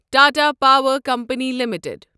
Tata power company limited